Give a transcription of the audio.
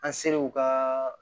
An ser'u ka